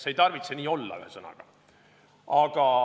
See ei tarvitse nii olla.